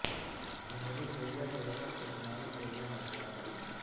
جنوبی کوریا کے وفد کی شمالی کوریا میں ضیافت